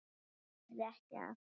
Hann lifði ekki af.